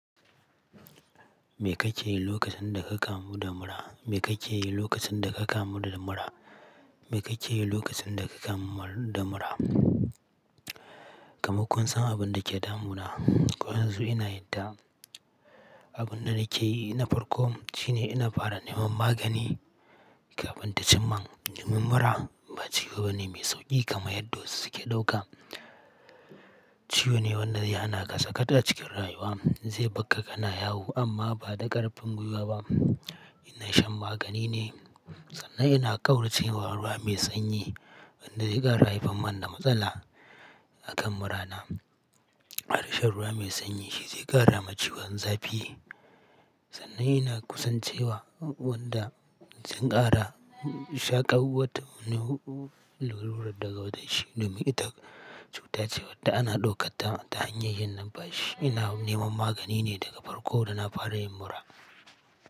Me kake yi lokacin da ka kamu da mura? Me kake yi lokacin da ka kamu da mura? Me kake yi lokacin da ka kamu da mura? Kamman kun san abin da ke damuna? Ko yanzu ina yarda abin da nake yi na farko shine ina fara neman magani kafin ta cim min. Neman mura ba ciwo bane mai sauƙi kamar yadda wasu suke ɗauka. Ciyo ne wanda zai hanaka saka ta cikin rayuwa. Zai bakka kana yawo amma ba da ƙarfin gwiwa ba. Ina shan magani ne sannan ina ƙauracewa ruwa mai sanyi wanda zai ƙara haifan man da matsala akan murana. Ƙara shan ruwa mai sanyi shi zai ƙara ma ciwon zafi sannan ina kusancewa wanda sun ƙara shaƙawata munin ruwan daga wata shi. Domin ita cutar ce wadda ana ɗaukanta ta hanyar yin nan. Bashi ina neman magani ne daga farko da na fara yin mura.